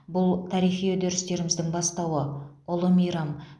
бұл тарихи үдерістеріміздің бастауы ұлы мейрам